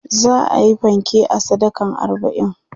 za'ayi fanke a sadakan arbain